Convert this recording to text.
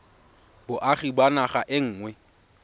boagi ba naga e nngwe